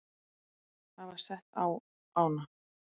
hafa sett á ána.